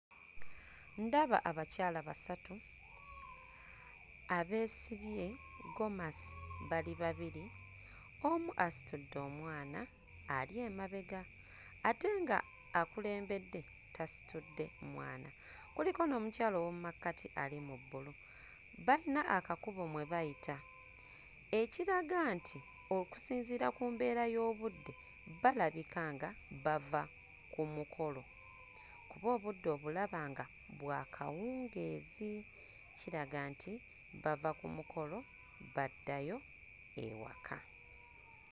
Ndaba abakyala basatu; abeesibye gomasi bali babiri, omu asitudde omwana ali emabega ate ng'akulembedde tasitudde mwana. Kuliko n'omukyala ow'omu makkati ali mu bbulu. Balina akakubo mwe bayita, ekiraga nti okusinziira ku mbeera y'obudde, balabika nga bava ku mukolo kuba obudde obulaba nga bwa kawungeezi, kiraga nti bava ku mukolo baddayo ewaka.